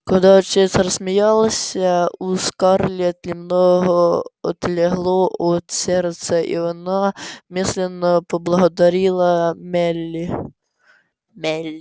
когда отец рассмеялся у скарлетт немного отлегло от сердца и она мысленно поблагодарила мелли мелли